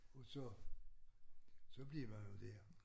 Og så så blev man jo der